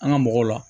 An ga mɔgɔw la